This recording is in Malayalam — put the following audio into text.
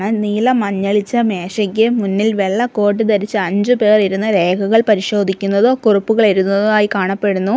നീല മഞ്ഞളിച്ചമേശയ്ക്ക് മുന്നിൽ കോട്ടിട്ട ധരിച്ച അഞ്ച് പേർ ഇരുന്ന് രേഖകൾ പരിശോധിക്കുന്നതും കുറിപ്പുകൾ എഴുതുന്നതായി കാണപ്പെടുന്നു.